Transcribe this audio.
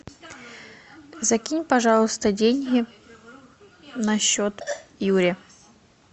закинь пожалуйста деньги на счет юре